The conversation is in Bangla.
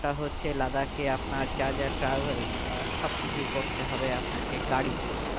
হচ্ছে লাদাখে আপনার যা যা আ travel আহ সবকিছুই করতেই হবে আপনাকে গাড়িতে